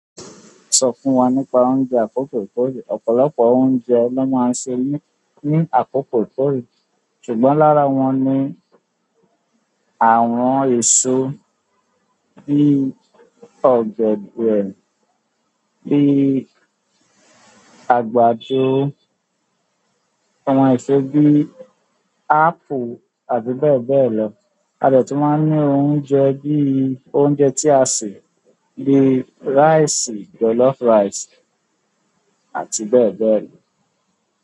Sọ fún wa nípa oúnjẹ àkókò tó rẹ̀. Ọ̀pọ̀lọpọ̀ oúnjẹ ni wọ́n máa ń se ní, ní àkópò tó rẹ̀. Ṣùgbọ́n lára wọn ni àwọn èso bí ọ̀gẹ̀dẹ̀, bí àgbàdo, àwọn eso bí apple àti bẹ́ẹ̀ bẹ́ẹ̀ lọ. A dè tún máa ní oúnjẹ bí i oúnjẹ tí a sè bí i rice, jollof rice àti bẹ́ẹ̀ bẹ́ẹ̀ lọ.